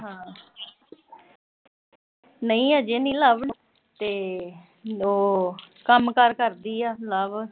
ਨਈਂ ਅਜੇ ਨੀ ਲਵ ਨੇ, ਤੇ ਉਹ ਕੰਮਕਾਰ ਕਰਦੀ ਆ ਲਵ